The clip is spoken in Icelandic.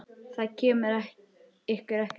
Það kemur ykkur ekkert við.